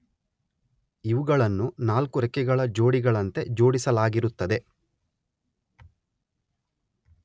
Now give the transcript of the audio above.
ಇವುಗಳನ್ನು ನಾಲ್ಕು ರೆಕ್ಕೆಗಳ ಜೋಡಿಗಳಂತೆ ಜೋಡಿಸಲಾಗಿರುತ್ತದೆ.